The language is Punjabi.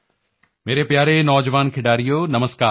ਮੇਰੇ ਪਿਆਰੇ ਨੌਜਵਾਨ ਖਿਡਾਰੀਓ ਨਮਸਕਾਰ